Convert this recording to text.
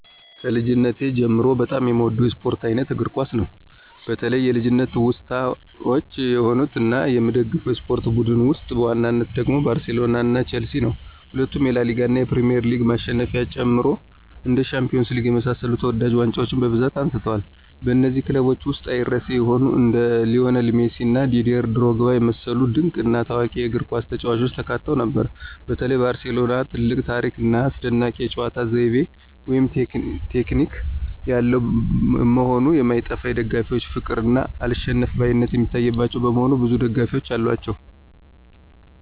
ከልጅነቴ ጀምሮ በጣም የምወደው የስፖርት አይነት እግር ኳስ ነው። በተለይ የልጅነት ትውስታዎች የሆኑት እና የምደግፈው የስፖርት ቡድን ውስጥ በዋናነት ደግሞ ባርሴሎና ቸልሲ ነው። ሁለቱም የላሊጋ እና የፕሪሚየር ሊግ ማሸነፊያዎችን ጨምሮ እንደ ሻምፒዮንስ ሊግ የመሳሰሉ ተወዳጅ ዋንጫዎችን በብዛት አንስተዋል። በነዚህም ክለቦች ውስጥ አይረሴ የሆኑ እንደ ሊዎኔል ሜሲ እና ዲዴር ድሮግባ የመሰሉ ድንቅ እና ታዋቂ የእግርኳስ ተጫዋቾች ተካተው ነበር። በተለይ ባርሴሎና ትልቅ ታሪክ ና አስደናቂ የጨዋታ ዘይቤ (ቴክኒክ) ያለው መሆኑ የማይጠፋ የደጋፊዎች ፍቅር እና አልሸነፍባይነት የሚታይባቸው በመሆኑ ብዙ ደጋፊዎች አሏቸው።